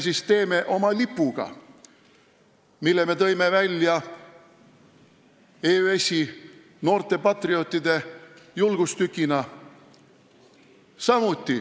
Mis me teeme oma lipuga, mille heiskamist me oleme toonud välja EÜS-i, noorte patriootide julgustükina?